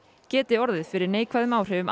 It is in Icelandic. geti orðið fyrir neikvæðum áhrifum